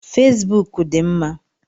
Fesbụụk dị mma.